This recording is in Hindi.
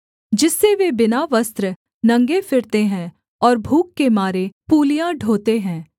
जिससे वे बिना वस्त्र नंगे फिरते हैं और भूख के मारे पूलियाँ ढोते हैं